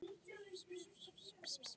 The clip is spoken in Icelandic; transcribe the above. Þetta verður vart eftir leikið.